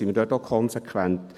Sind wir dort auch konsequent?